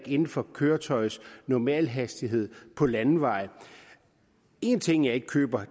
inden for køretøjets normalhastighed på landeveje en ting jeg ikke køber